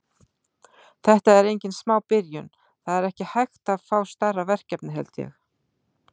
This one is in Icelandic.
Þetta er engin smá byrjun, það er ekki hægt að fá stærra verkefni held ég.